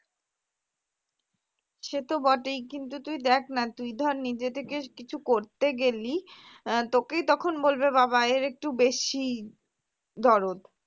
সে তো বটেই কিন্তু তুই দেখ না তুই ধর নিজে থেকে কিছু করতে গেলি আহ তোকেই তখন বলবে বাবা এর একটু বেশিই দরদ